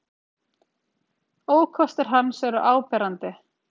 Ókostir hans eru áberandi.